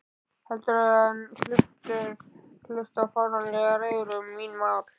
Heldur en hlusta á fáránlegar ræður um mín mál.